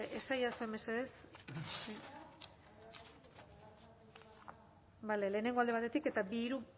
bale esaidazu mesedez lehenengoa alde batetik eta bi hiru